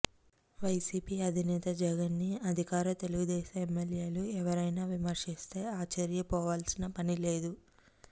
YCP అధినేత జగన్ ని అధికార తెలుగుదేశం ఎమ్మెల్యేలు ఎవరైనా విమర్శిస్తే ఆశ్చర్యపోవాల్సిన పనిలేదు